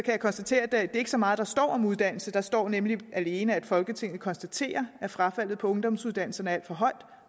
jeg konstatere at det ikke er så meget der står om uddannelse der står nemlig alene at folketinget konstaterer at frafaldet på ungdomsuddannelserne er alt for høj